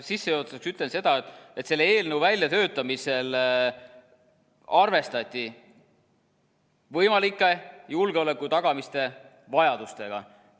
Sissejuhatuseks ütlen seda, et selle eelnõu väljatöötamisel arvestati võimalike julgeoleku tagamise vajadustega.